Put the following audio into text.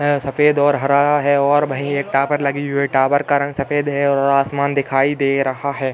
सफ़ेद और हरा है और वहीं एक टावर लगी हुई है। टावर का रंग सफ़ेद है और आसमान दिखाई दे रहा है।